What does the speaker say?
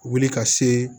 Wuli ka se